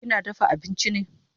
Kina dafa abinchi ne?